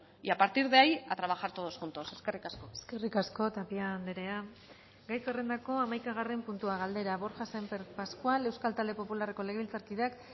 y a partir de ahí a trabajar todos juntos eskerrik asko eskerrik asko tapia andrea gai zerrendako hamaikagarren puntua galdera borja sémper pascual euskal talde popularreko legebiltzarkideak